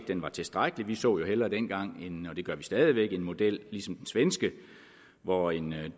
den var tilstrækkelig vi så jo hellere dengang og det gør vi stadig væk en model ligesom den svenske hvor en